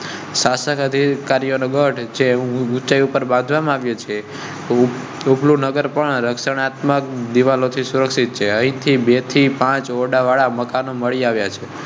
શાસક અધિકારીઓ ને ગઢ જે ઉંચાઈ ઉપર બાંધવા માં આવ્યો છે. પણ રક્ષણાત્મક દિવાલ થી સુરક્ષિત છે. અહીંથી બેથી પાંચ ઓરડા વાળા મકાન મળી આવ્યાં છે.